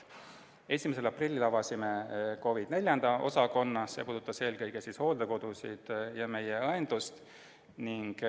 1. aprillil avasime COVID IV osakonna, see puudutas eelkõige hooldekodusid ja meie õendust.